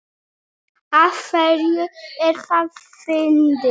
Af hverju er það fyndið?